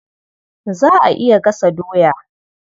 Za a iya gasa doya.